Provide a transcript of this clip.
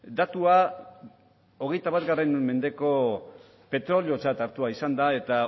datua hogeita bat mendeko petroleotzat hartua izan da eta